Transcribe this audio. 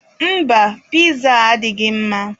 Mba, piza a adịghị mma.